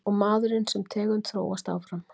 Og maðurinn sem tegund þróast áfram.